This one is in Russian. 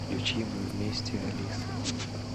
включи мы вместе алисы